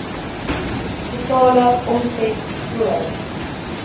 totale omset voor